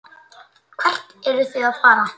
Hvert eruð þið að fara?